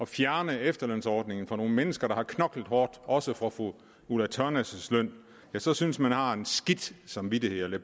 fjerne efterlønsordningen for nogle mennesker der har knoklet hårdt også for fru ulla tørnæs løn så synes man har en skidt samvittighed og det